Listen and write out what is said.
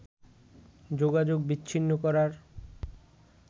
যোগাযোগ বিচ্ছিন্ন করার